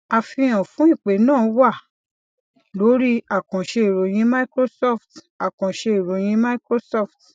àfihàn fún ìpè náà wà lórí àkànṣe ìròyìn microsoft àkànṣe ìròyìn microsoft